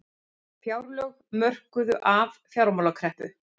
Fjárlög mörkuð af fjármálakreppu